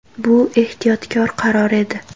Bu ehtiyotkor qaror edi.